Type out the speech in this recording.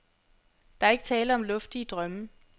Der er ikke tale om luftige drømme.